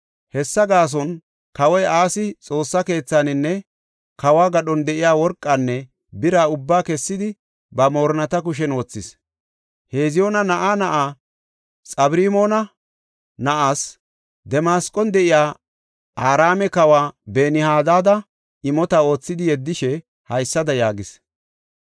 Hessa gaason kawoy Asi Xoossa keethaninne kawo gadhon de7iya worqanne bira ubbaa kessidi ba moorinnata kushen wothis. Heziyoona na7aa na7aa, Xabirmoona na7aas, Damasqon de7iya Araame kawa Ben-Hadaada imota oothidi yeddishe haysada yaagis;